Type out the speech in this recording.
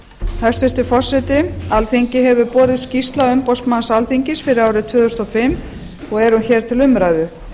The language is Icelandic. hæstvirtur forseti alþingi hefur borist skýrsla umboðsmanns alþingis fyrir árið tvö þúsund og fimm og er hún hér til umræðu